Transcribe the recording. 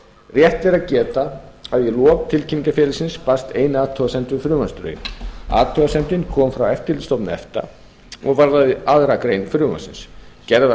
rétt er að geta að í lok tilkynningar félagsins barst ein athugasemd við frumvarpsdrögin athugasemdin kom frá eftirlitsstofnun efta og varðaði annarrar greinar frumvarpsins gerð var